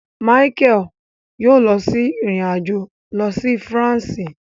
Michael yoo lọ sí ìrìn-àjò lọ si Faransé